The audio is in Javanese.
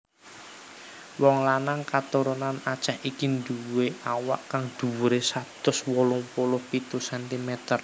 Wong lanang katurunan Aceh iki nduwé awak kang dhuwuré satus wolung puluh pitu centimeter